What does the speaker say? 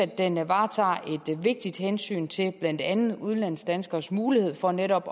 den varetager et vigtigt hensyn til blandt andet udenlandsdanskeres mulighed for netop